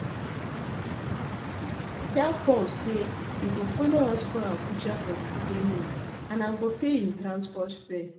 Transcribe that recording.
Tell Paul say he go follow us go Abuja for the training and I go pay him transport fare